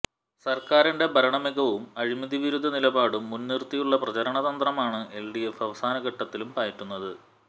സർക്കാരിന്റെ ഭരണമികവും അഴിമതിവിരുദ്ധ നിലപാടും മുൻനിർത്തിയുള്ള പ്രചാരണതന്ത്രമാണ് എൽഡിഎഫ് അവസാന ഘട്ടത്തിലും പയറ്റുന്നത്